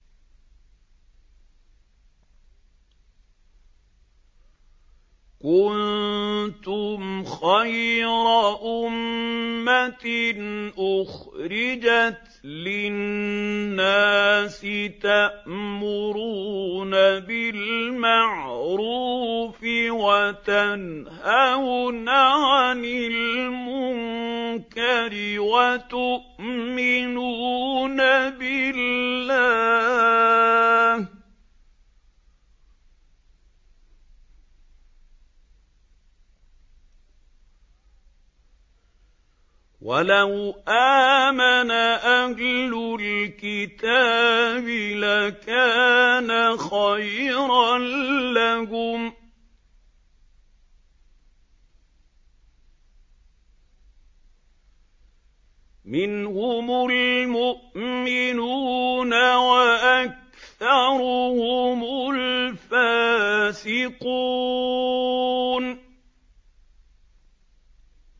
كُنتُمْ خَيْرَ أُمَّةٍ أُخْرِجَتْ لِلنَّاسِ تَأْمُرُونَ بِالْمَعْرُوفِ وَتَنْهَوْنَ عَنِ الْمُنكَرِ وَتُؤْمِنُونَ بِاللَّهِ ۗ وَلَوْ آمَنَ أَهْلُ الْكِتَابِ لَكَانَ خَيْرًا لَّهُم ۚ مِّنْهُمُ الْمُؤْمِنُونَ وَأَكْثَرُهُمُ الْفَاسِقُونَ